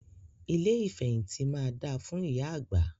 Ilé ìfẹ̀hìntì máa da fún ìyá àgbà.